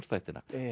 þættina